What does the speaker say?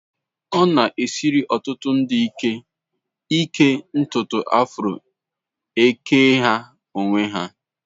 Ọ na-esiri ọtụtụ ndị ike ịke ntutu afro eke ha n'onwe ha